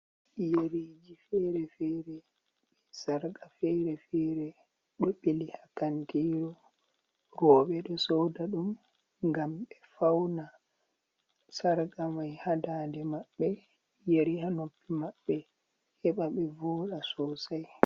Yeriji fere-fere be sarqa fere-fere do beli ha kantiru, robe do soda dum gam be fauna sarga mai hadande mabbe yari hanoppi mabbe heba be voda sosai.